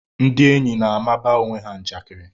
Ndị enyi na-amaba onwe ha njakiri